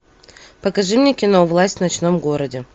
покажи мне кино власть в ночном городе